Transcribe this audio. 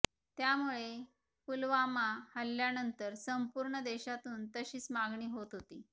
त्यामुळे पुलवामा हल्ल्यानंतर संपूर्ण देशातून तशीच मागणी होत होती